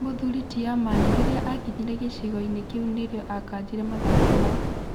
Mũthuri ti Amani rĩrĩa akinyire gĩcigoinĩ kĩu nĩrĩo akanjire mathako mau.